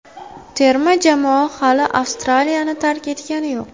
Terma jamoa hali Avstraliyani tark etgani yo‘q.